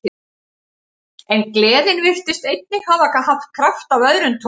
En gleðin virtist einnig hafa haft kraft af öðrum toga.